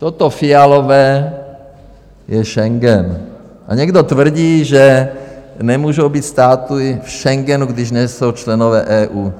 Toto fialové je Schengen a někdo tvrdí, že nemůžou být státy v Schengenu, když nejsou členové EU.